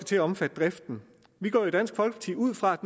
til at omfatte driften vi går i dansk folkeparti ud fra at